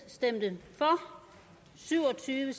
stemte syv og tyve